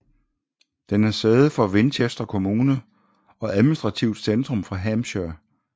Den er sæde for Winchester kommune og administrativt centrum for Hampshire